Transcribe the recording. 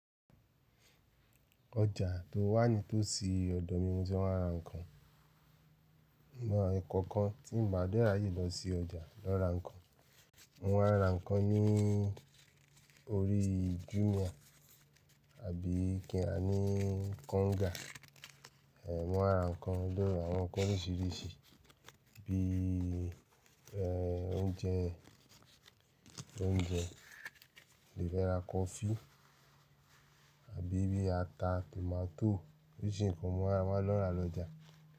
Ọjà tó wà nítòsí ọ̀dọ̀ mi ní mo ti ń lọ ra ǹkan. Ìmọ̀ ẹ̀ kọ̀ọ̀kan tí ń bá dé ri aye lọ sí ọjà lọ ra ǹkan. Wọ́n ra ǹkan ní orí Jumia àbí kí rá ní Konga. Wọ́n ra ǹkan ló lọ ra àwọn ǹkan oríṣìíríṣìí bí oúnjẹ, oúnjẹ, lè rà coffee àbí bí ata tomato oríṣìíríṣìí ǹkan mọ́ ra wọ́n lọ ra lọjà.